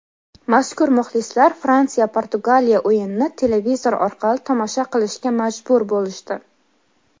mazkur muxlislar Fransiya - Portugaliya o‘yinini televizor orqali tomosha qilishga majbur bo‘lishdi.